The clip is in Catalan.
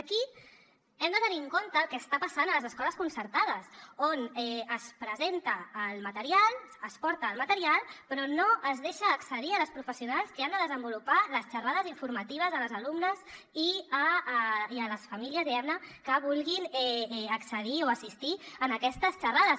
aquí hem de tenir en compte el que està passant a les escoles concertades on es presenta el material es porta el material però no es deixa accedir a les professionals que han de desenvolupar les xerrades informatives a les alumnes i a les famílies diguem ne que vulguin accedir o assistir a aquestes xerrades